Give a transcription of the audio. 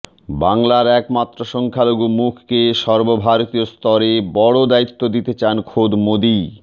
বাংলার একমাত্র সংখ্যালঘু মুখকে সর্বভারতীয় স্তরে বড় দায়িত্ব দিতে চান খোদ মোদীই